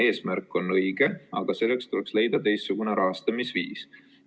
Eesmärk on õige, aga selleks tuleks leida teistsugune rahastamisviis.